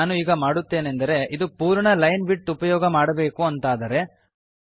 ನಾನು ಈಗ ಮಾಡುತ್ತೇನೆಂದರೆ ಇದು ಪೂರ್ಣ ಲೈನ್ ವಿಡ್ತ್ ಉಪಯೋಗ ಮಾಡಬೇಕು ಅಂತಾದರೆ